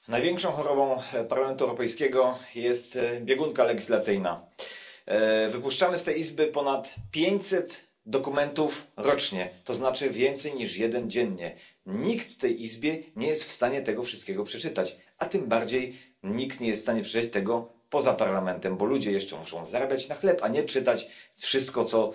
Pani Przewodnicząca! Największą chorobą Parlamentu Europejskiego jest biegunka legislacyjna. Wypuszczamy z tej Izby ponad pięćset dokumentów rocznie, to znaczy więcej niż jeden dziennie. Nikt w tej Izbie nie jest w stanie tego wszystkiego przeczytać, a tym bardziej nikt nie jest w stanie przeczytać tego poza Parlamentem, bo ludzie jeszcze muszą zarabiać na chleb, a nie czytać wszystko,